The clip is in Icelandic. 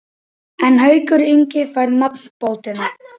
En Haukur Ingi fær nafnbótina.